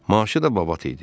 Maaşı da babat idi.